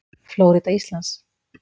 Flórída Íslands.